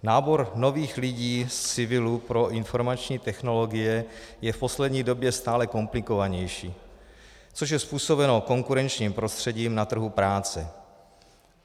Nábor nových lidí z civilu pro informační technologie je v poslední době stále komplikovanější, což je způsobeno konkurenčním prostředím na trhu práce.